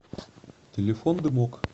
телефон дымок